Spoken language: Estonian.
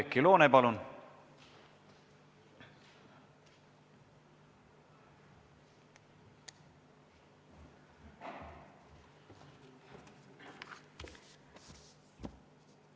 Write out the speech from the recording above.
Oudekki Loone, palun!